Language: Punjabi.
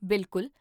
ਬਿਲਕੁਲ